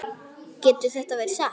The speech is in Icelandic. Getur þetta verið satt?